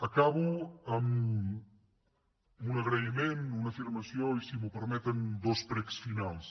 acabo amb un agraïment una afirmació i si m’ho permeten dos precs finals